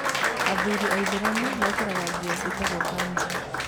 Athuri aithĩramu mekĩraga nguo ciatagwo kanzu.